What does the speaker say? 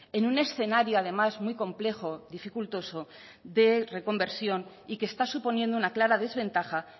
en un escenario además muy complejo dificultoso de reconversión y que está suponiendo una clara desventaja